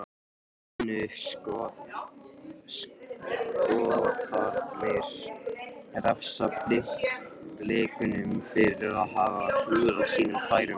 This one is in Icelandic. Munu Skotarnir refsa Blikunum fyrir að hafa klúðrað sínum færum?